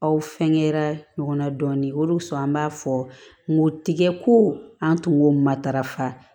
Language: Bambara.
Aw fɛngɛra ɲɔgɔnna dɔɔnin o de kosɔn an b'a fɔ n ko tigɛko an tun ma darafa